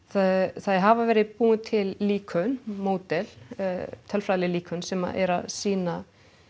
það hafa verið búin til líkön módel tölfræðileg líkön sem eru að sýna